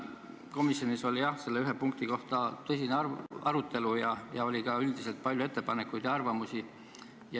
Komisjonis käis tõesti selle ühe punkti üle tõsine arutelu ja oli ka üldiselt palju ettepanekuid ja arvamusi.